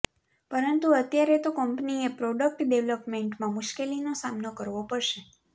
પરંતુ અત્યારે તો કંપનીએ પ્રોડક્ટ ડેવલપમેન્ટમાં મુશ્કેલીનો સામનો કરવો પડશે